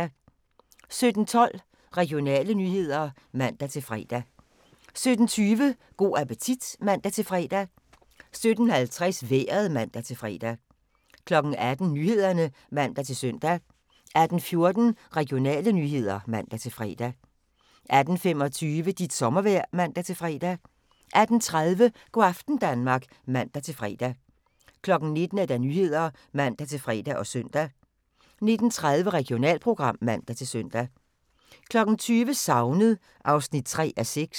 17:12: Regionale nyheder (man-fre) 17:20: Go' appetit (man-fre) 17:50: Vejret (man-fre) 18:00: Nyhederne (man-søn) 18:14: Regionale nyheder (man-fre) 18:25: Dit sommervejr (man-fre) 18:30: Go' aften Danmark (man-fre) 19:00: Nyhederne (man-fre og søn) 19:30: Regionalprogram (man-søn) 20:00: Savnet (3:6)